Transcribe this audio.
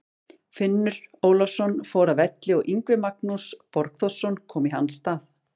Finnur Ólafsson fór af velli og Yngvi Magnús Borgþórsson kom í hans stað.